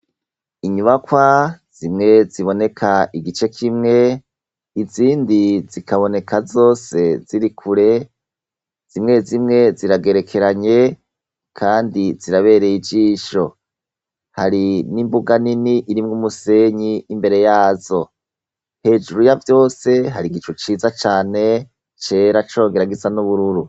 Inyubakwa zimwe ziboneka igice kimwe izindi zikaboneka zose zirikure .Zimwe zimwe ziragerekeranye kandi zirabereye ijisho hari n'imbuga nini irimwe umusenyi imbere yazo hejuru ya vyose hari igicu ciza cane cera congera gisa n'ubururu.